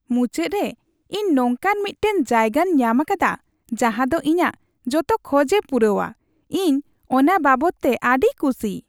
ᱢᱩᱪᱟᱹᱫ ᱨᱮ, ᱤᱧ ᱱᱚᱝᱠᱟᱱ ᱢᱤᱫᱴᱟᱝ ᱡᱟᱭᱜᱟᱧ ᱧᱟᱢᱟᱠᱟᱫᱟ ᱡᱟᱦᱟ ᱫᱚ ᱤᱧᱟᱜ ᱡᱚᱛᱚ ᱠᱷᱚᱡᱮ ᱯᱩᱨᱟᱹᱣᱼᱟ, ᱤᱧ ᱚᱱᱟ ᱵᱟᱵᱚᱛ ᱛᱮ ᱟᱹᱰᱤ ᱠᱷᱩᱥᱤ ᱾